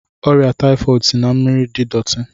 Ọrịa taifọd si na mmiri dị dọti.